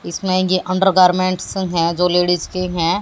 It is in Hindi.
इसमें आयेंगे अंडरगार्मेंट्स है दो लेडीस के है।